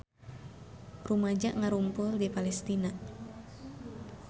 Rumaja ngarumpul di Palestina